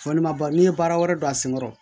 Fɔ ne ma ba n'i ye baara wɛrɛ don a senkɔrɔ